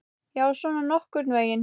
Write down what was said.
Já, svona nokkurn veginn.